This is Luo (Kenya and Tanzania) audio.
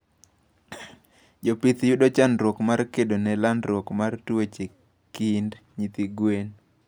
Jopith yudo chandruok mar kedone landruok mar tuoche kind nyithi gwen